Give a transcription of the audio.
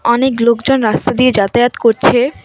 অনেক লোকজন রাস্তা দিয়ে যাতায়াত করছে।